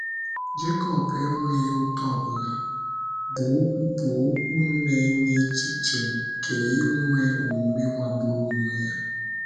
Jekọb enweghị ụta ọbụla, bụ́ okwu bụ́ okwu na - enye echiche nke inwe omume magburu onwe ya.